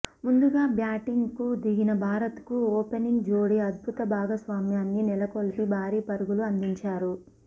ముందుగా బ్యాటింగ్ కు దిగిన భారత్ కు ఓపెనింగ్ జోడి అద్భుత భాగస్వామ్యాన్ని నెలకొల్పి భారీ పరుగులు అందించారు